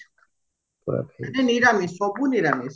କିନ୍ତୁ ନିରାମିଷ ସବୁ ନିରାମିଷ